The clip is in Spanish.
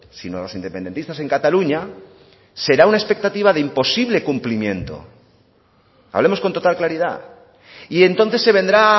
sino los independentistas en cataluña será una expectativa de imposible cumplimiento hablemos con total claridad y entonces se vendrá